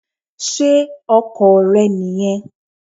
Sé Ọkò rẹ nì yen